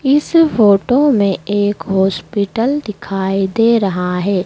इस फोटो में एक हॉस्पिटल दिखाई दे रहा है।